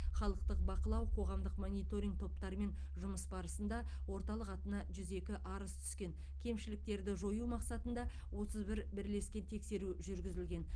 халықтық бақылау қоғамдық мониторинг топтарымен жұмыс барысында орталық атына жүз екі арыз түскен кемшіліктерді жою мақсатында отыз бір бірлескен тексеру жүргізілген